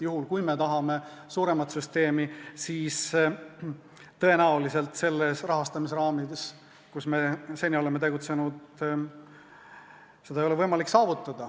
Juhul, kui me tahame suuremat süsteemi, siis tõenäoliselt sellistes rahastamise raamides, milles me seni oleme tegutsenud, seda saavutada ei ole võimalik.